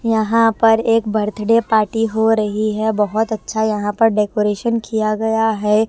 यहाँ पर एक बर्थडे पार्टी हो रही है बहुत अच्छा यहाँ पर डेकोरेशन किया गया है।